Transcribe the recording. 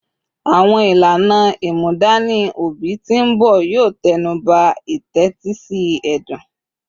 Awọn ilana imudani obi ti nbọ yoo tẹnuba itetisi ẹdun